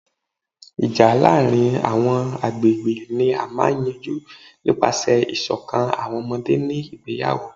Ija laarin awọn agbegbe ni a maa n yanju nipasẹ iṣọkan awọn ọmọde ni igbeyawo